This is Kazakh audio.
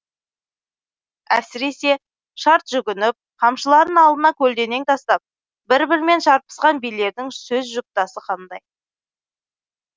әсіресе шарт жүгініп қамшыларын алдына көлденең тастап бір бірімен шарпысқан билердің сөз жұптасы қандай